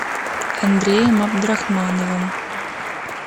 андреем абдрахмановым